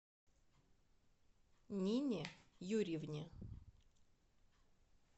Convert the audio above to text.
нине юрьевне